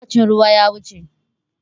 Lokacin ruwa ya wuce.